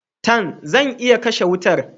Tan! Zan iya kashe wutar.